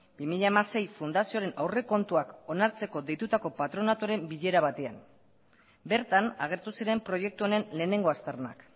bi mila hamasei fundazioaren aurrekontuak onartzeko deitutako patronatuaren bilera batean bertan agertu ziren proiektu honen lehenengo aztarnak